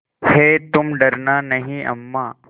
हैतुम डरना नहीं अम्मा